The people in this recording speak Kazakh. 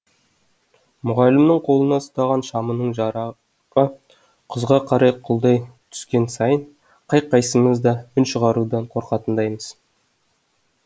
мұғалімнің қолына ұстаған шамының жарығы құзға қарай құлдай түскен сайын қай қайсымыз да үн шығарудан қорқатындаймыз